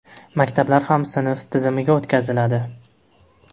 Maktablar ham sinf tizimiga o‘tkaziladi.